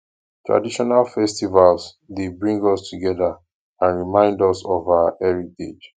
traditional festivals dey bring us together and remind us of our heritage